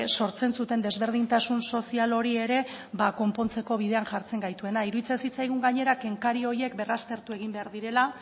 sortzen zuten desberdintasun sozial hori ere ba konpontzeko bidean jartzen gaituela iruditzen zitzaigun gainera kenkari horiek berraztertu egin behar direla